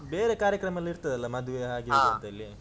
ಬೇರೆ ಕಾರ್ಯಕ್ರಮೆಲ್ಲ ಇರ್ತದಲ್ಲಾ ಮದುವೆ ಹಾಗೆ ಹೀಗೆ ಅಂತೇಳಿ.